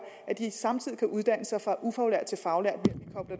at de samtidig kan uddanne sig fra ufaglært til faglært